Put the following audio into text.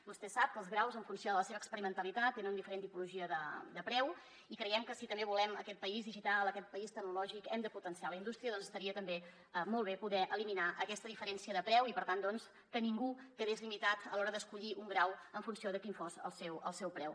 vostè sap que els graus en funció de la seva experi·mentalitat tenen diferent tipologia de preu i creiem que si també volem aquest país digital aquest país tecnològic hem de potenciar la indústria doncs estaria també molt bé poder eliminar aquesta diferència de preu i per tant que ningú quedés li·mitat a l’hora d’escollir un grau en funció de quin fos el seu preu